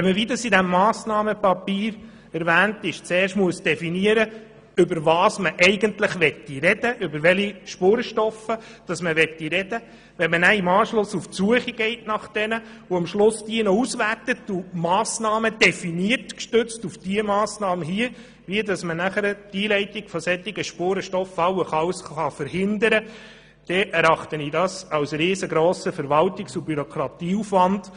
Wenn man zudem in diesem Massnahmenpapier zuerst definieren muss, über welche Spurenstoffe man überhaupt sprechen will, sich anschliessend auf die Suche nach ihnen begibt, sie letztlich auswertet und gestützt auf die erwähnte Massnahme, Massnahmen definiert, wie man die Einleitung von solchen Spurenstoffen allenfalls verhindern kann, so erachte ich das als riesengrossen Verwaltungs- und Bürokratieaufwand.